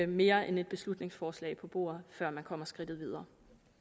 mere end et beslutningsforslag på bordet før man kommer skridtet videre